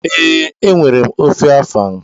Ee, enwere m ofe afang.